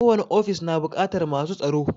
Ko wani ofis na buƙatar masu tsaro